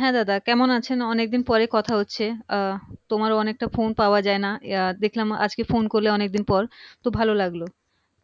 হ্যাঁ দাদা কেমন আছেন অনেকদিন পরে কথা হচ্ছে আহ তোমার অনেকটা phone পাওয়া যায়না আহ দেখলাম আজকে phone করলে অনেক দিন পর তো ভালো লাগলো